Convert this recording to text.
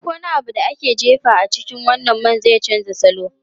Duk wani abu da aka jefa a cikin wannan man zai canza salo.